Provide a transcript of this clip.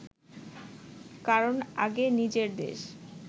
কারণ আগে নিজের দেশ